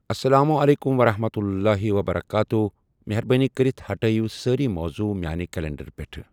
اسلام علیکم ورحمۃ اللہ وبرکاتہ مہربٲنی کٔرِتھ ہٹٲیِو سٲری موضوع میانہِ کلینڈر پیٹھ ۔